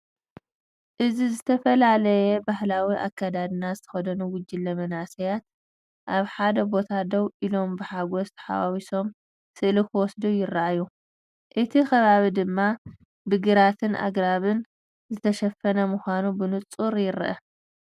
እዚ ዝተፈላለየ ባህላዊ ኣከዳድና ዝተኸድኑ ጉጅለ መንእሰያት ኣብ ሓደ ቦታ ደው ኢሎም ብሓጎስ ተሓዋዊሶም ስእሊ ክወስዱ ይረኣዩ፡ እቲ ከባቢ ድማ ብግራትን ኣግራብን ዝተሸፈነ ምዃኑ ብንጹር ይርአ።